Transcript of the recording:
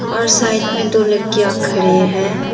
और साइड में दो लड़कियां खड़े है।